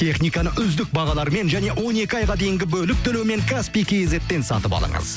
техниканы үздік бағалармен және он екі айға дейін бөліп төлеумен каспий кейзетпен сатып алыңыз